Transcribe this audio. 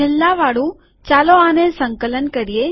છેલ્લાવાળું ચાલો આને સંકલન કરીએ